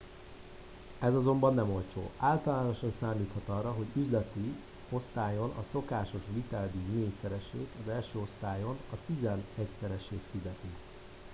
ez azonban nem olcsó általánosan számíthat arra hogy üzleti osztályon a szokásos viteldíj négyszeresét az első osztályon a tizenegyszeresét fizeti